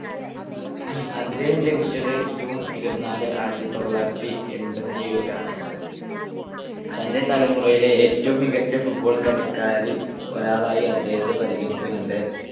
അദ്ദേഹം ജനിച്ചത് June ഇരുപത്തിനാല് ആയിരത്തിത്തൊള്ളായിരത്തിഎൺപത്തിയേഴിലാണ്. തന്റെ തലമുറയിലെ ഏറ്റവും മികച്ച football കളിക്കാരിൽ ഒരാളായി അദ്ദേഹത്തെ പരിഗണിക്കണ്ണ്ട്.